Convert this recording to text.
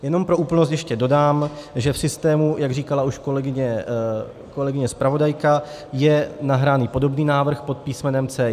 Jenom pro úplnost ještě dodám, že v systému - jak říkala už kolegyně zpravodajka - je nahraný podobný návrh pod písmenem C1.